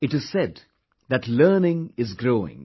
It is said that learning is growing